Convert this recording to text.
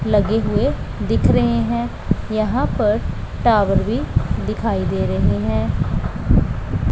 लगे हुए दिख रहे हैं यहां पर टावर भी दिखाई दे रहे हैं।